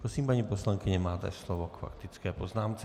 Prosím, paní poslankyně, máte slovo k faktické poznámce.